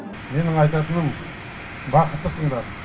менің айтатыным бақыттысыңдар